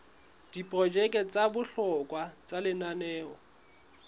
diprojeke tsa bohlokwa tsa lenaneo